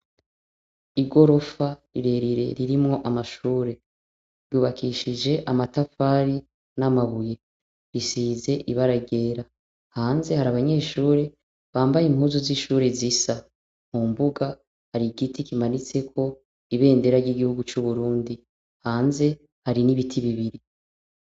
Igorofa rirerire ririmw' amashure yubakishij' amatafari n' amabuye, isiz' ibara ryera, hanze har' abanyeshure bambay' impuzu zishure zisa. Mu mbuga, har'igiti kimanitsek' ibendera ry' igihugu cu Burundi, hanze hari n' ibiti bibiri.